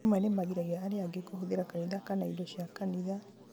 amwe nĩmagiragia arĩa angĩ kũhũthĩra kanitha kana indo cia kanitha